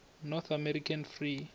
north american free